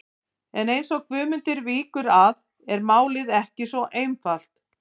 En eins og Guðmundur víkur að er málið ekki svo einfalt.